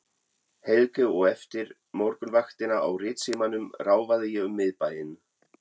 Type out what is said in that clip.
Helgu og eftir morgunvaktina á Ritsímanum ráfaði ég um miðbæinn.